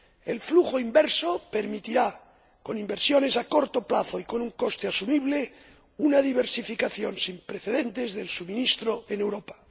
El flujo inverso permitirá, con inversiones a corto plazo y con un coste asumible, una diversificación sin precedentes del suministro en Europa.